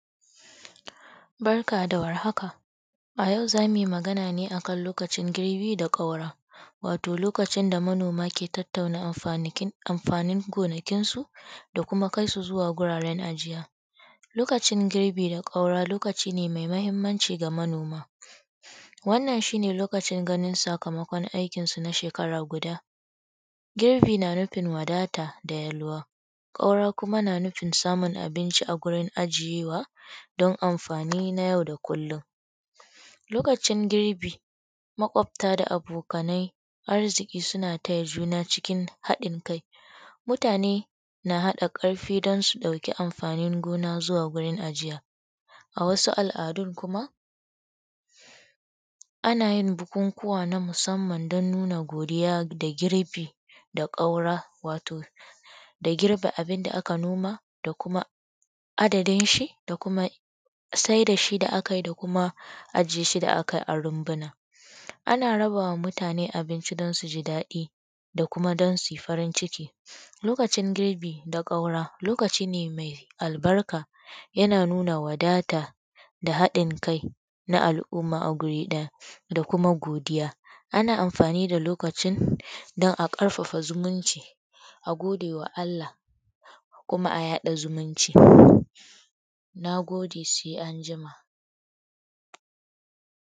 Barka da war haka a yau za mu yi magana ne akan lokacin girbi da kaura, wato lokacin da manoma ke tattauna amfani gonakinsu da kuma kai su wajen ajiya. Lokacin girbi da ƙaura lokaci ne mai mahimmanci ga mutane wannan shi ne lokacin ganin sakamakon na shekara guda. Girbi na nufin wadata da yalwa, ƙaura kuma na nufinn ajiye abinci a gurin ajiyewa domin amfani na yau da kullum. Lokacin girbi maƙwabta da abokanai na taya juna arziki suna taya juna cikin haɗin kai. Mutane na haɗa ƙarfi don su ɗauki anfanin gona zuwa gurin ajiya. A wsu aladun kuma ana yin bukukuwan na musamma don nuna godiya da girbi da ƙaura wato da girbe abun da aka noma da kuma adadin shi da kuma sai da shi da aka yi da kuma ajiye shi da aka yi rumbuna. Ana rabawa mutane abinci don su ji dadi da kuma don su yi farin ciki. Lokacin girbi da ƙaura, lokaci ne mai albarka yana nuna wadata da haɗin kai na al'umma a guri ɗaya da kuma godiya. Ana amfani da lokacin don a ƙarfafa zumunci a gode wa Allah kuma a yaɗa zumunci. Na gode sai anjima.